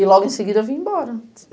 E logo em seguida eu vim embora.